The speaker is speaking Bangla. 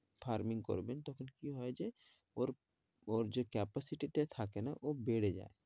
Farming করবেন তখন কি হয় যে ওর ওর যে capacity টা থাকে না ও বেড়ে যায়